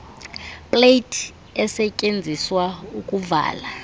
plate esetyenziswa ukuvala